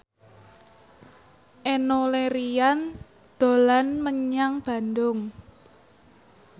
Enno Lerian dolan menyang Bandung